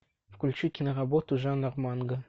включи киноработу жанр манга